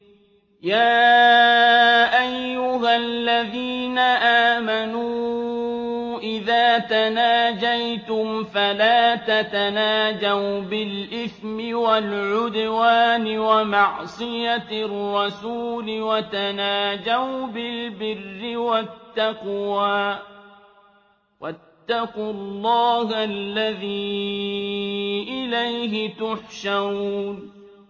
يَا أَيُّهَا الَّذِينَ آمَنُوا إِذَا تَنَاجَيْتُمْ فَلَا تَتَنَاجَوْا بِالْإِثْمِ وَالْعُدْوَانِ وَمَعْصِيَتِ الرَّسُولِ وَتَنَاجَوْا بِالْبِرِّ وَالتَّقْوَىٰ ۖ وَاتَّقُوا اللَّهَ الَّذِي إِلَيْهِ تُحْشَرُونَ